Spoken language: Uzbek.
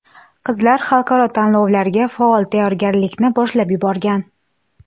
Qizlar xalqaro tanlovlarga faol tayyorgarlikni boshlab yuborgan.